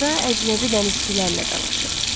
Orada əcnəbi dənizçilərlə dalaşıb.